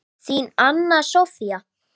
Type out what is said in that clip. Þín, Anna Soffía.